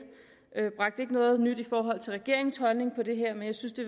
ikke noget nyt i forhold til regeringens holdning til det her men jeg synes det